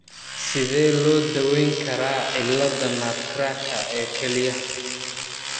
Sidee loo daweyn karaa cilladda nutcracker ee kelyaha?